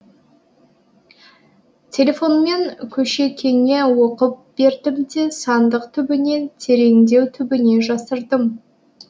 телефонмен көшекеңе оқып бердім де сандық түбіне тереңдеу түбіне жасырдым